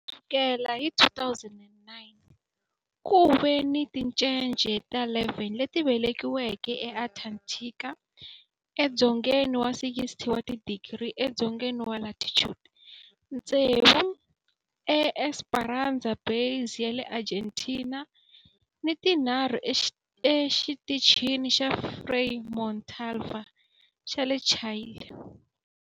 Ku sukela hi 2009, ku ve ni tincece ta 11 leti velekiweke eAntarctica edzongeni wa 60 wa tidigri edzongeni wa latitude, tsevu eEsperanza Base ya le Argentina ni tinharhu eXitichini xa Frei Montalva xa le Chile.